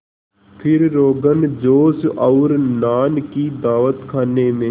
फिर रोग़नजोश और नान की दावत खाने में